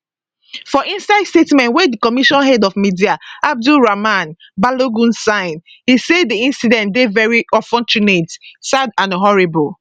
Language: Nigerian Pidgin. for inside statement wey di commission head of media abdurrahman balogun sign e say di incident dey veri unfortunate sad and horrible